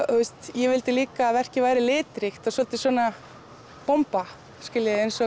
ég vildi líka að verkið væri litríkt svolítil bomba eins og